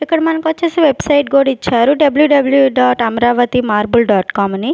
ఇక్కడ మనకొచ్చేసి వెబ్సైట్ కూడిచ్చారు W W dot Amaravati marble dot com అని --